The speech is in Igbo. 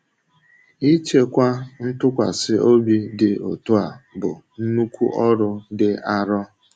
Ịchekwa ntụkwasị obi dị otu a bụ nnukwu ọrụ dị arọ.